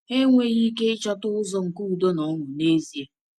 Ha enweghị ike ịchọta ụzọ nke udo na na ọṅụ n’ezie.